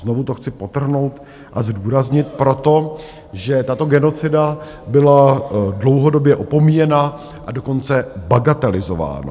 Znovu to chci podtrhnout a zdůraznit proto, že tato genocida byla dlouhodobě opomíjena, a dokonce bagatelizována.